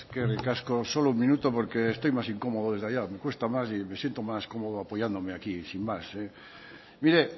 eskerrik asko solo un minuto porque estoy más incómodo desde allá me cuesta más y me siento más cómodo apoyándome aquí sin más mire